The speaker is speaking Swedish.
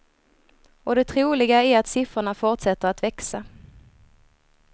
Och det troliga är att siffrorna fortsätter att växa.